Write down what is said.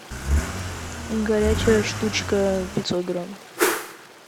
горячая штучка пятьсот грамм